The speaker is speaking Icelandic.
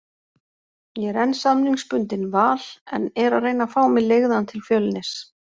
Ég er enn samningsbundinn Val, en er að reyna fá mig leigðan til Fjölnis.